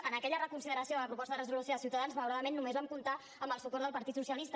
en aquella reconsideració de la proposta de resolució de ciutadans malauradament només vam comptar amb el suport del partit socialista